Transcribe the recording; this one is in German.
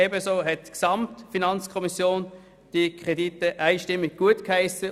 Ebenso hat die FiKo insgesamt alle diese Kredite einstimmig gutgeheissen.